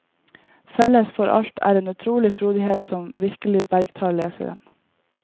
Felles for alt er en utrolig frodighet som virkelig bergtar leseren.